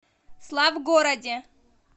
славгороде